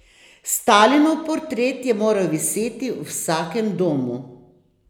Stalinov portret je moral viseti v vsakem domu.